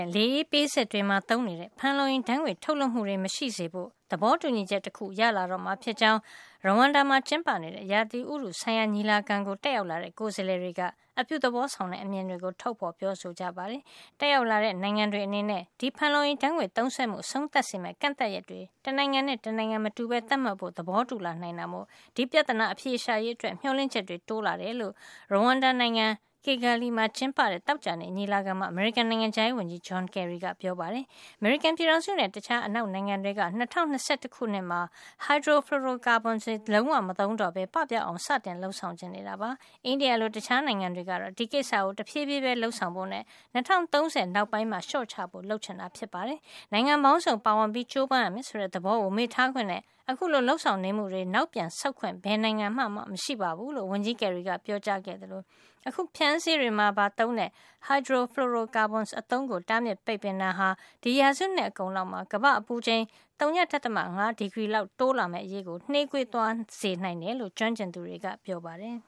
ဲ့ လေအေးပေးစက်တွေမှာ သုံးနေတဲ့ ဖန်လုံအိမ်ဓါတ်ငွေ့တွေ ထုတ်လွှတ်မှု မရှိစေဖို့ သဘောတူညီချက်တခုရလာတော့မှာ ဖြစ်ကြောင်း Rawanda မှာ ကျင်းပနေတဲ့ ဥတုရာသီဆိုင်ရာ ညီလာခံကို တက်ရောက်လာတဲ့ ကိုယ်စားလှယ်တွေက အပြုသဘောဆောင်တဲ့ အမြင်တွေကို ထုတ်ပြောကြပါတယ်။ တက်ရောက်တဲ့ နိုင်ငံတွေ အနေနဲ့ ဒီဖန်လုံအိမ်ဓါတ်ငွေ့ သုံးစွဲမှု အဆုံးသတ်စေမယ့် ကန့်သတ်ရက်တွေ တနိုင်ငံနဲ့ တနိုင်ငံ မတူပဲ သတ်မှတ်ဖို့ သဘောတူလာ နိုင်တာမို့ ဒီပြဿနာ အဖြေရှာရေးအတွက် မျှော်လင့်ချက်တွေ တိုးလာတယ်လို့ Rawanda နိုင်ငံ Kigali မှာ ကျင်းပတဲ့ သောကြာနေ့ ညီလာခံမှာ အမေရိကန် နိုင်ငံခြားရေးဝန်ကြီး John Kerry က သတင်းထောက်တွေကို ပြောပါတယ်။ အမေရိကန်ပြည်ထောင်စုနဲ့ တခြား အနောက်နိုင်ငံတွေက ၂၀၂၁ ခုနှစ်မှာ hydro fluoro carbons (HFCs) တွေ လုံးဝမသုံးတော့ပဲ ပပျောက်အောင် စတင်လုပ်ဆောင် ချင်နေကြတာပါ။ အိန္ဒိယလို တခြားနိုင်ငံတွေကတော့ ဒီကိစ္စကို တဖြေးဖြေးပဲ လုပ်ဆောင်ဖို့နဲ့ ၂၀၃၀ နောက်ပိုင်းကျမှ လျှော့ချဖို့ လုပ်ချင်နေတာ ဖြစ်ပါတယ်။ နိုင်ငံပေါင်းစုံ ပါဝင်ပြီး ကြိုးပမ်းရမယ် ဆိုတဲ့ သဘောကို မေ့ထားခွင့်နဲ့ အခုလုပ်ဆောင်နေမှုတွေကို နောက်ပြန်ဆုတ်ခွင့် ဘယ်နိုင်ငံမှာမှမရှိဘူး လို့ ဝန်ကြီးကယ်ရီက ပြောကြားခဲ့သလို အခုလို ဖြန်းဆေးတွေမှာပါ သုံးတဲ့ hydro fluoro carbons (HFCs) အသုံးကို တားမြစ်ပိတ်ပင်တာဟာ ဒီရာစုနှစ်အကုန်လောက်မှာ ကမ္ဘာ့အပူချိန် ဝ.၅ ဒီဂရီလောက် တိုးလာမယ့် အရေးကို နှေးကွေးသွားစေနိုင်တယ်လို့ ကျွမ်းကျင်သူတွေက ပြောပါတယ်